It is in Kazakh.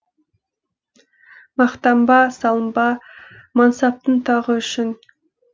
мақтанба салынба мансаптың тағы үшін